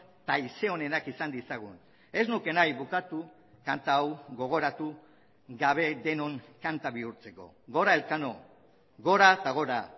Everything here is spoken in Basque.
eta haize onenak izan ditzagun ez nuke nahi bukatu kanta hau gogoratu gabe denon kanta bihurtzeko gora elkano gora eta gora